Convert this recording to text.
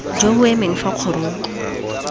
jo bo emeng fa kgorong